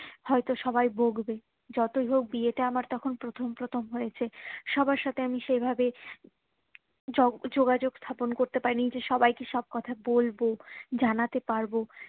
হয়তো সবাই বকবে যতই হোক বিয়েটা আমার তখন প্রথম প্রথম হয়েছে সবার সাথে আমি সেই ভাবে যোগ যোগাযোগ স্থাপন করতে পারিনি যে সবাই কে সব কথা বলবো জানাতে পারবো